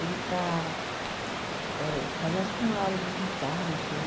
Ele está eh fazendo, acho que uma aula de guitarra, não sei.